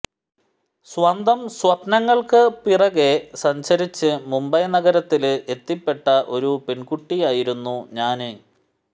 സ്വന്തം സ്വപ്നങ്ങള്ക്ക് പിറകെ സഞ്ചരിച്ച് മുംബൈ നഗരത്തില് എത്തിപ്പെട്ട ഒരു പെണ്കുട്ടിയായിരുന്നു ഞാന്